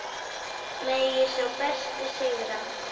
Megi sá besti sigra.